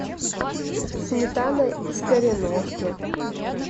сметана из кореновки